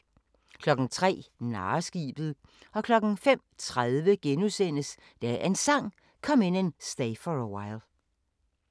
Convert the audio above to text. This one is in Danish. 03:00: Narreskibet 05:30: Dagens Sang: Come In And Stay For A While *